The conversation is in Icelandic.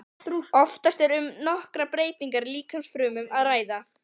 Oftast er um nokkrar breytingar í líkamsfrumum að ræða.